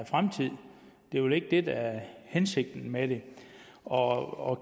fremtid det er vel ikke det der er hensigten med det og